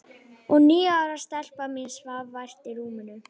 Og níu ára stelpan mín svaf vært í rúminu.